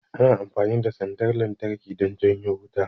Ana amfani da sandar lantarki don janyo wuta